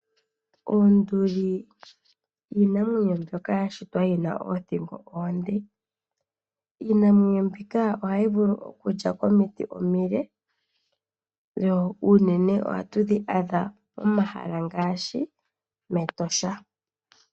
Onduli iinamwenyo mbyoka yashitwa yina oothingo oonde. Iinamwenyo mbika ohayi vulu okulya komiti omile. Oonduli unene ohatu dhi adha mEtosha.